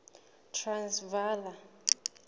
transvala